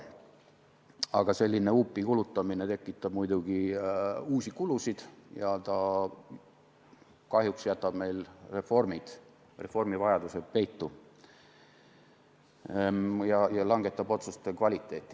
Aga selline huupi kulutamine tekitab muidugi uusi kulusid ja see kahjuks jätab reformivajadused peitu ja halvendab otsuste kvaliteeti.